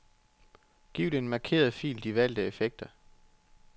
Giv den markerede fil de valgte effekter.